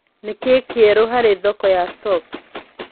Nĩ Kĩĩ Kĩerũ harĩ thoko ya stocks